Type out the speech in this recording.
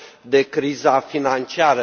de criza financiară.